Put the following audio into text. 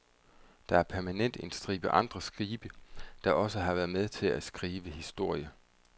Der er permanent en stribe andre skibe, der også har været med til at skrive historie.